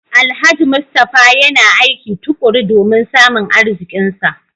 Alhaji Mustapha yana aiki tukuru domin samun arzikinsa